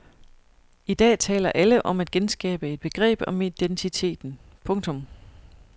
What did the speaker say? I dag taler alle om at genskabe et begreb om identiteten. punktum